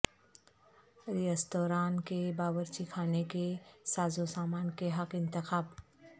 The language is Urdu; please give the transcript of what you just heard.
ریستوران کے باورچی خانے کے سازوسامان کے حق انتخاب